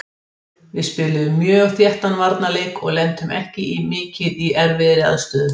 Við spiluðum mjög þéttan varnarleik og lentum ekki mikið í erfiðri aðstöðu.